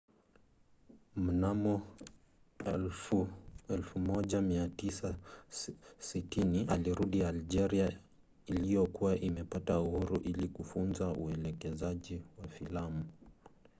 mnamo 1960 alirudi algeria iliyokuwa imepata uhuru ili kufunza uelekezaji wa filamu